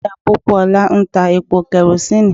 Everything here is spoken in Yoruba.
Ìyá Pópóọlá ń ta epo kẹrosíìnì.